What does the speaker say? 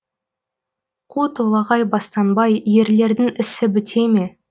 қу толағай бастанбай ерлердің ісі біте ме